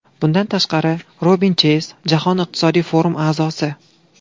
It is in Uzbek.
Bundan tashqari, Robin Cheyz Jahon iqtisodiy forumi a’zosi.